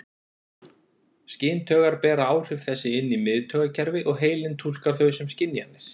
Skyntaugar bera áhrif þessi inn í miðtaugakerfi og heilinn túlkar þau sem skynjanir.